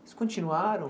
continuaram?